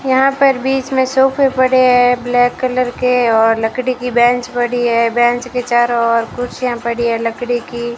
यहां पर बीच में सोफे पड़े हैं ब्लैक कलर के और लकड़ी की बेंच पड़ी है बेंच के चारों और कुर्सियां पड़ी है लकड़ी की।